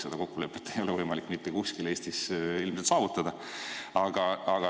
Seda kokkulepet ei ole võimalik mitte kuskil Eestis ilmselt saavutada.